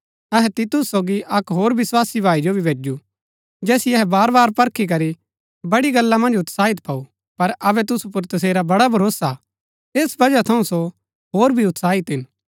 अहै तीतुस सोगी अक्क होर विस्वासी भाई जो भी भैजु जैसिओ अहै बार बार परखी करी बड़ी गल्ला मन्ज उत्साही पाऊ पर अबै तुसु पुर तसेरा बड़ा भरोसा हा ऐस वजह थऊँ सो होर भी उत्साही हिन